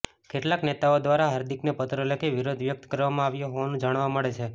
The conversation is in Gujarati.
કેટલાક નેતાઓ દ્વારા હાર્દિકને પત્ર લખી વિરોધ વ્યક્ત કરવામાં આવ્યો હોવાનું જાણવા મળે છે